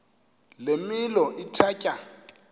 le milo ithatya